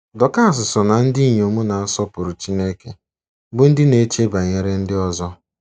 Dọkas so ná ndị inyom na-asọpụrụ Chineke bụ́ ndị na-eche banyere ndị ọzọ.